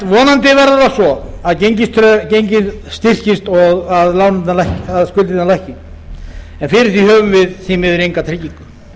vonandi verður það svo að gengið styrkist og skuldirnar lækki en fyrir því höfum við því miður enga tryggingu